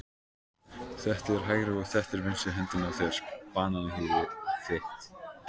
Þetta er hægri og þetta er vinstri hendin á þér, bananahýðið þitt.